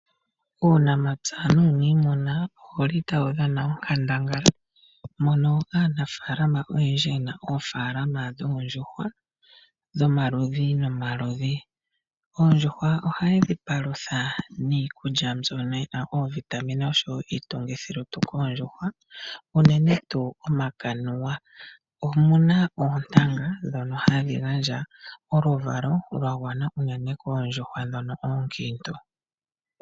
Uunamapya nuuniimuna owu li tawu dhana onkandangala. Aanafaalama oyendji oyena oofaalalma dhoondjuhwa dhomaludhi nomaludhi. Oondjuhwa ohaye dhi palutha niikulya mbyono yi na iitu githilutu unene tuu omakanuwa ngono ge na oontanga ndhono hadhi gandja oluvalo koondjuhwa ndhono oonkiintu.